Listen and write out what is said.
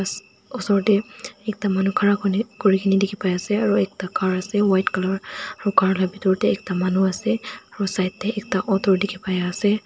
oser te ekta manu khara kuri kene dikhi pa ase aru ekta car ase white colour aru car la pitor te ekta manu ase aru side te ekta auto dikhi pai ase.